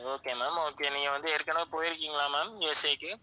okay ma'am okay நீங்க வந்து ஏற்கனவே போயிருக்கீங்களா ma'amUSA க்கு